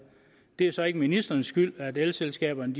det er så ikke ministerens skyld at elselskaberne